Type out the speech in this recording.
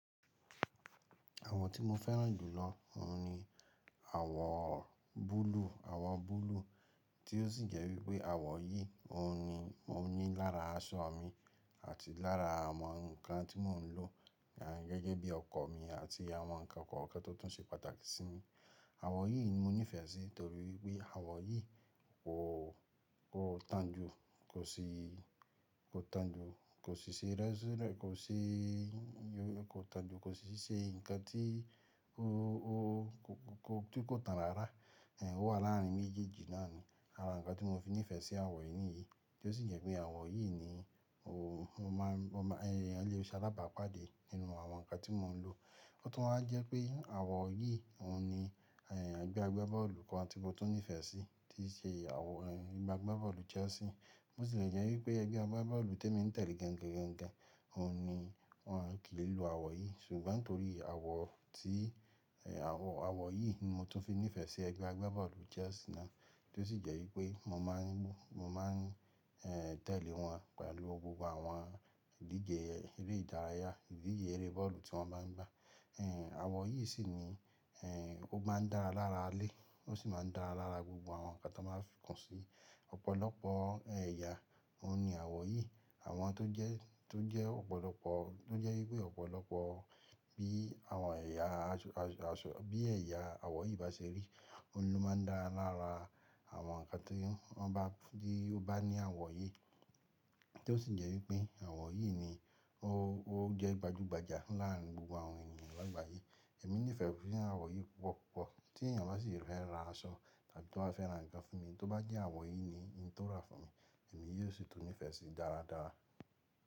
Àwọn tí mo fẹ́ràn jù lọ ní àwọ̀ búlúù, àwọ̀ búlúù tí ó sì jẹ́ wípé àwọ̀ yìí mo ní lára aṣọ mi àti lára àwọn nǹkan tí mò ń lò gẹ́gẹ́ bí ọkọ̀ mi àti àwọn nǹkan kọ̀ọ̀kan tó tún ṣe pàtàkì sí mi. Àwọ̀ yìí ni mo nífẹ̀ẹ́ sí torí pé àwọ̀ yìí kò tanjú, kò ṣe rẹ́sírẹ̀, kò tanjú, kò sì ṣe ǹkan tí kò tàn rárá. Ó wà láàrin méjèèjì náà ni ara nǹkan tí mo fi nífẹ̀ẹ́ sí àwọ̀ yìí ní yìí tí ó sì jẹ́ pé àwọ̀ yìí ni ẹyan le ṣe alábàápàdé nínú àwọn nǹkan tí mò ń lò. Ó tún máa ń jẹ́ pé àwọ̀ yìí ni ẹgbẹ́ agbábọ́ọ̀lù kan tí mo tún nífẹ̀ẹ́ sí tí ṣe ẹgbẹ́ agbábọ́ọ̀lù Chelsea. Bó ti lè jẹ́ wípé ẹgbẹ́ agbábọ́ọ̀lù tí mo ń tẹ̀lé gangan won kí n lo àwọ̀ yìí ṣùgbọ́n torí àwọ̀ yìí ni mo tún fi nífẹ̀ẹ́ sí ẹgbẹ́ agbábọ́ọ̀lù Chelsea náà tí ó sì jẹ́ wípé mo máa ń tẹ̀lé wọn pẹ̀lú gbogbo àwọn ìdíje eré ìdárayá, ìdíje eré bọ́ọ̀lù tí wọ́n bá ń gbá. Àwọ̀ yìí sì ni ó máa ń dára lára alẹ́ ó sì máa ń dára lára gbogbo àwọn nǹkan tí wọ́n máa fí kan sí ọ̀pọ̀lọpọ̀ ẹ̀yà. Àwọn tó jẹ́ wípé ọ̀pọ̀lọpọ̀ bí àwọn ẹ̀yà àwọ̀ yìí bá ṣe rí, òun ló máa ń dára lára àwọn nǹkan tí ó bá ní àwọ̀ yìí tí ó sì jẹ́ wípé àwọ̀ yìí ni ó jẹ́ gbajúgbajà láàrin gbogbo àwọn ènìyàn lágbàáyé. Èmi nífẹ̀ẹ́ fún àwọ̀ yìí púpọ̀ púpọ̀ tí ènìyàn bá sì rẹ́ra aṣọ tàbí tó bá fẹ́ ra ǹkan fún mi, tó bá jẹ́ àwọ̀ yìí ni ó rà fún mi, èmi yóò sì tún nífẹ̀ẹ́ sí í dára dára.